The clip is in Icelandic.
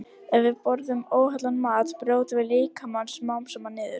Ef við borðum óhollan mat brjótum við líkamann smám saman niður.